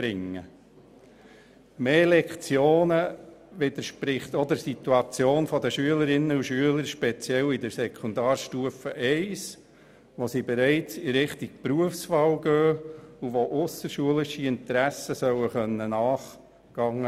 Eine Erhöhung der Lektionenzahl widerspricht auch der Situation der Schülerinnen und Schüler, speziell auf der Sekundarstufe I, wo die Berufswahl bereits ein Thema ist, und wo es möglich sein sollte, ausserschulischen Interessen nachzugehen.